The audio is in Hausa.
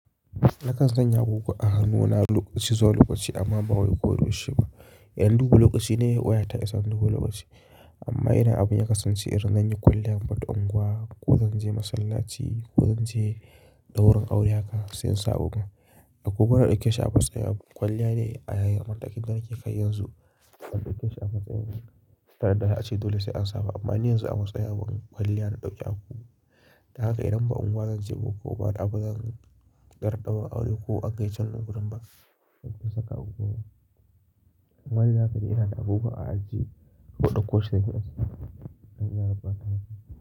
Nakan sanya agogo a hannuna lokaci zuwa lokaci amma ba wai ko yaushe ba. Yanzu duk lokaci ne wayata ke sa duk lokaci. Amma idan abin ya kasance irin na yi kwalliyar faɗan unguwa ko zan je masallaci ko zan je ɗaurin aure haka sai in sa agogon. Agogon na ɗauke shi a matsayin kwalliya ne a yayin matakin da nake kai yanzu. Na ɗauke shi a matsayin tare da na ce dole sai an sa ba. Amma ni yanzu a matsayin kwalliya na ɗauke agogo. Dan haka idan ba unguwa zan je ba ko baɗi abun zan ƙarɓa aure ko an kai can gudu ba, zan saka agogo. Wanzu da faɗi suna da agogo a aji ko ɗauko shi daga gida idan za a ɓata masa.